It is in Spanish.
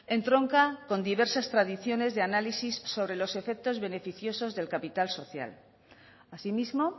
entronca con diversas tradiciones de análisis sobre los efectos beneficiosos del capital social asimismo